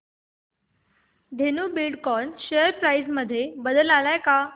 Dhenu Buildcon share price मध्ये बदल आलाय का